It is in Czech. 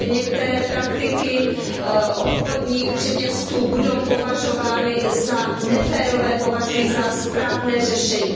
že některé praktiky obchodních řetězců budou považovány za neférové považuji za správné řešení.